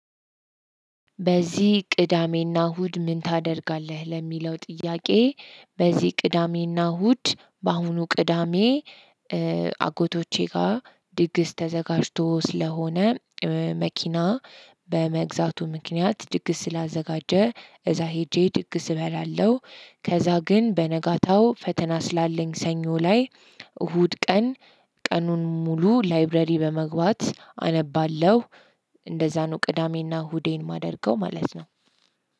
በዚህ ቅዳሜና እሁድ ምን ታደርጋለህ? ለሚለው ጥያቄ በዚህ ቅዳሜና እሁድ በአሁኑ ቅዳሜ አጎቶቼ ጋር ድግስ ተዘጋጅቶ ስለሆነ መኪና በመግዛቱ ምክንያት ድግስ ስላዘጋጀ እዛ ሄጄ ድግስ እበላለሁ። ከዛ ግን በነጋታው ፈተና ስላለኝ ሰኞ ላይ እሁድ ቀን ቀኑን ሙሉ ላይብረሪ በመግባት አነባለሁ። እንደዛ ነው ቅዳሜና ሁዴን ማደርገው ማለት ነው።